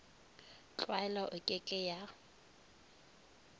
tlwaelo e ke ke ya